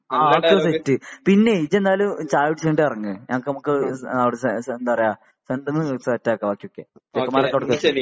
ആ ആ അത് സെറ്റ് പിന്നെ ഇജ്ജ് എന്നാല് ചായ കുടിച്ച് ഇങ്ങട്ട് ഇറങ്ങ് നമുക്ക് ഇവിടെ അവട എന്താ പറയാ സെറ്റ് ആക്കാ ബാക്കി ഒക്കെ മാറി കൊടുക്ക്